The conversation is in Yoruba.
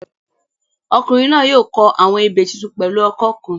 Ọkùnrin náà yóò kọ àwọn ebè tuntun pẹ̀lú ọkọ́ kan